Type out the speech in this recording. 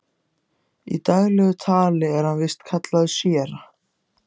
Í daglegu tali er hann víst kallaður séra